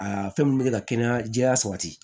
Aa fɛn min bɛ ka kɛnɛya jɛya sabati